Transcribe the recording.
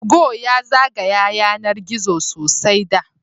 Tugo ya zagaya yanar gizo sosai da